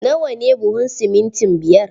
Na wa ne buhun simintin biyar?